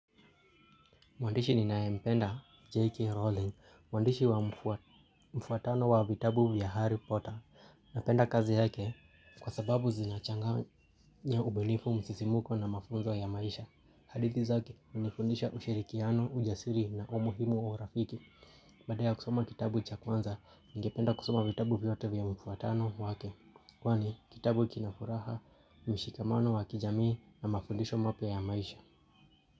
Mwandishi ninayempenda J.K. Rowling, mwandishi wa mfuatano wa vitabu vya Harry Potter. Napenda kazi yake kwa sababu zinachanganya ubunifu msisimuko na mafunzo ya maisha. Hadithi zake, hunifundisha ushirikiano, ujasiri na umuhimu wa urafiki. Baada kusoma kitabu cha kwanza, ningependa kusoma vitabu vyote vya mfuatano wake. Kwani, kitabu kinafuraha, mshikamano wa kijamii na mafundisho mapya ya maisha.